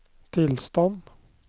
tilstand